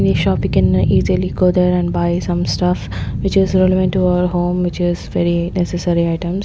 shop we can easily go there and buy some stuff which is relevant to our home which is very necessary items.